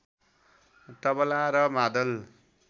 तबला र मादल